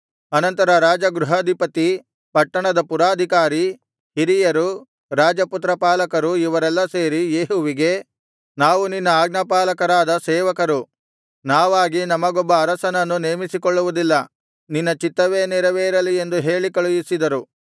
ಅನಂತರ ರಾಜಗೃಹಾಧಿಪತಿ ಪಟ್ಟಣದ ಪುರಾಧಿಕಾರಿ ಹಿರಿಯರು ರಾಜಪುತ್ರಪಾಲಕರು ಇವರೆಲ್ಲ ಸೇರಿ ಯೇಹುವಿಗೆ ನಾವು ನಿನ್ನ ಆಜ್ಞಾಪಾಲರಕರಾದ ಸೇವಕರು ನಾವಾಗಿ ನಮಗೊಬ್ಬ ಅರಸನನ್ನು ನೇಮಿಸಿಕೊಳ್ಳುವುದಿಲ್ಲ ನಿನ್ನ ಚಿತ್ತವೇ ನೆರವೇರಲಿ ಎಂದು ಹೇಳಿ ಕಳುಹಿಸಿದರು